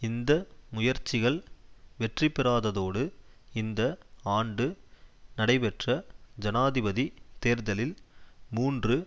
இந்த முயற்சிகள் வெற்றிபெறாததோடு இந்த ஆண்டு நடைபெற்ற ஜனாதிபதி தேர்தலில் மூன்று